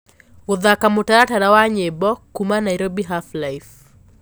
gũthaka mũtaratara wa nyĩmbo kũũma Nairobi half life